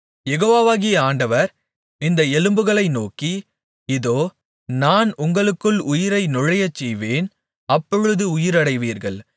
யெகோவாகிய ஆண்டவர் இந்த எலும்புகளை நோக்கி இதோ நான் உங்களுக்குள் உயிரை நுழையச்செய்வேன் அப்பொழுது உயிரடைவீர்கள்